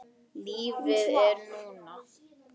Lífið er núna